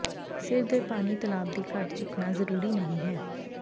ਸਿਰ ਦੇ ਪਾਣੀ ਤਲਾਬ ਦੀ ਘੱਟ ਝੁਕਣਾ ਜ਼ਰੂਰੀ ਨਹੀ ਹੈ